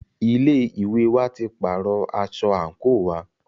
Ilé ìwé wa tí pàárọ̀ aṣọ àńkò wa.